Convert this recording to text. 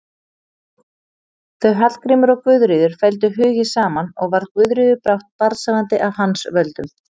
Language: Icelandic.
Þau Hallgrímur og Guðríður felldu hugi saman og varð Guðríður brátt barnshafandi af hans völdum.